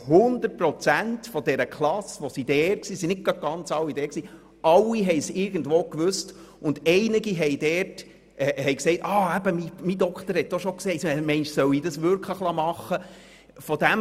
100 Prozent der anwesenden Klasse wussten Bescheid und einige haben gesagt, ihr Arzt habe es auch schon gesagt und ob man meine, sie sollten das wirklich machen lassen.